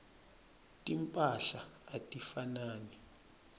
timphahla atifanani